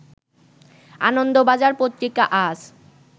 আনন্দ বাজার পত্রিকা আজ